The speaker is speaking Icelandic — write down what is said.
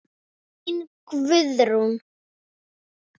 Þín Guðrún.